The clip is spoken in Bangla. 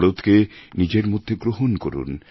ভারতকে নিজের মধ্যে গ্রহণ করুন